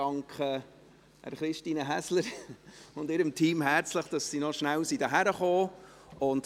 Ich danke Christine Häsler und ihrem Team herzlich, dass sie noch kurz hierhin gekommen sind.